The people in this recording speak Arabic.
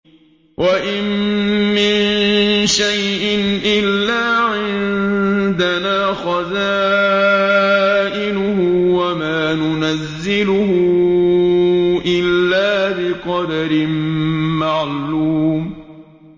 وَإِن مِّن شَيْءٍ إِلَّا عِندَنَا خَزَائِنُهُ وَمَا نُنَزِّلُهُ إِلَّا بِقَدَرٍ مَّعْلُومٍ